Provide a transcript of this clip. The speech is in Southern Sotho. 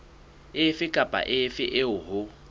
efe kapa efe eo ho